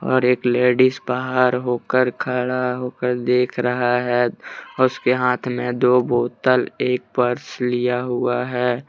और एक लेडिस बाहर होकर खड़ा होकर देख रहा है उसके हाथ में दो बोतल एक पर्स लिया हुआ है।